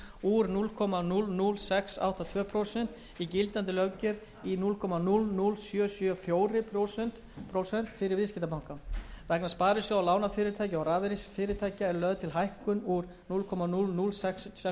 úr núll komma núll núll sex átta tvö prósent í gildandi löggjöf í núll komma núll núll sjö sjö fjögur prósent fyrir viðskiptabanka vegna sparisjóða lánafyrirtækja og rafeyrisfyrirtækja er lögð til hækkun úr núll komma núll núll sex eitt prósent í